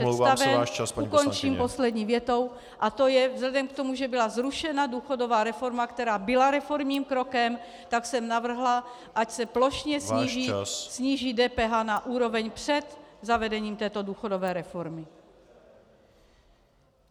Ukončím poslední větou: A to je - vzhledem k tomu, že byla zrušena důchodová reforma, která byla reformním krokem, tak jsem navrhla, ať se plošně sníží DPH na úroveň před zavedením této důchodové reformy.